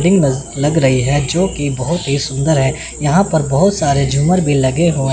लग रही है जो की बहुत ही सुंदर है यहां पर बहोत सारे झूमर भी लगे हुए--